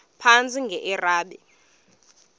phantsi enge lrabi